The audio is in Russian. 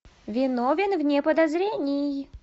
виновен вне подозрений